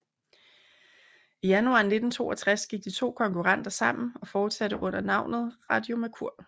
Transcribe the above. I januar 1962 gik de to konkurrenter sammen og fortsatte under navnet Radio Mercur